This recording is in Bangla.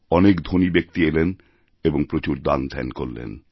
অনেক ধনী ব্যক্তি এলেন এবংপ্রচুর দানধ্যান করলেন